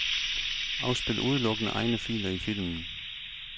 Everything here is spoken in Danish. Afspil udelukkende egne filer i filmen.